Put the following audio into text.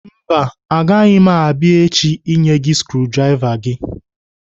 Mba, agaghị m abia echi inye gị skrudrava gị.